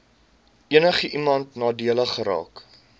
enigiemand nadelig geraak